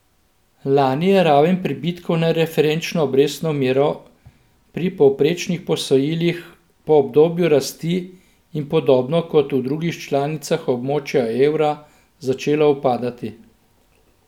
Lani je raven pribitkov na referenčno obrestno mero pri povprečnih posojilih po obdobju rasti in podobno kot v drugih članicah območja evra začela upadati.